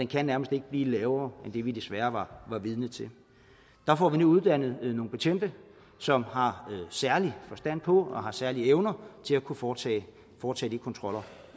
kan nærmest ikke blive lavere end det vi desværre var vidner til der får vi nu uddannet nogle betjente som har særlig forstand på og har særlige evner til at kunne foretage foretage de kontroller